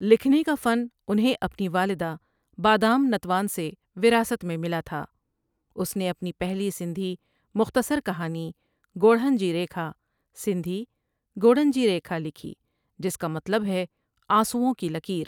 لکھنے کا فن انہیں اپنی والدہ بادام نتوان سے وراثت میں ملا تھا اس نے اپنی پہلی سندھی مختصر کہانی گوڑھن جی ریکھا سندھی ڳوڙهن جي ریکا لکھی جس کا مطلب ہے آنسوؤں کی لکیر۔